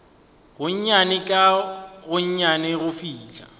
gonnyane ka gonnyane go fihla